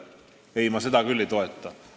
Ei, ma seda küll ei toeta.